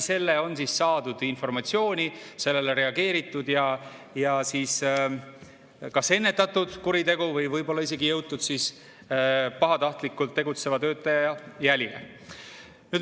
Selle kaudu on saadud informatsiooni, sellele on reageeritud ja kas ennetatud kuritegu või võib-olla isegi jõutud pahatahtlikult tegutseva töötaja jälile.